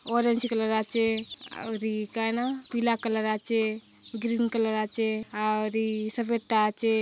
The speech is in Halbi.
ऑरेंज कलर आचे ओरी कायना पिला कलर आचे ग्रीन कलर आचे और इ सफ़ेद आचे।